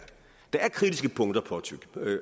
der er kritiske punkter